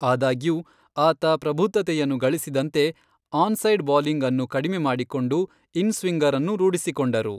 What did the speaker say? ಆದಾಗ್ಯೂ, ಆತ ಪ್ರಬುದ್ಧತೆಯನ್ನು ಗಳಿಸಿದಂತೆ, ಆನ್ ಸೈಡ್ ಬೌಲಿಂಗ್ಅನ್ನು ಕಡಿಮೆ ಮಾಡಿಕೊಂಡು ಇನ್ ಸ್ವಿಂಗರ್ಅನ್ನೂ ರೂಢಿಸಿಕೊಂಡರು.